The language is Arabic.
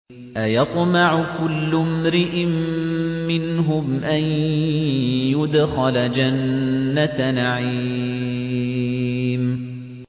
أَيَطْمَعُ كُلُّ امْرِئٍ مِّنْهُمْ أَن يُدْخَلَ جَنَّةَ نَعِيمٍ